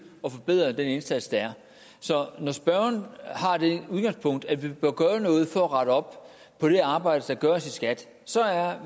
og forbedre den indsats der er så når spørgeren har det udgangspunkt at vi bør gøre noget for at rette op på det arbejde der gøres i skat så er